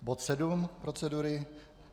Bod sedm procedury.